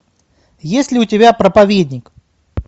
есть ли у тебя проповедник